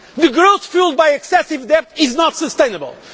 The growth fuelled by excessive debt is not sustainable.